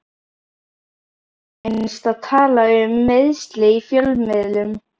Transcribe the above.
Hvernig finnst að tala um meiðsli í fjölmiðlum?